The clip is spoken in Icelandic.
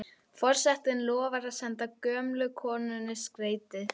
Forsetinn lofar að senda gömlu konunni skeyti.